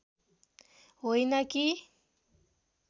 होइन कि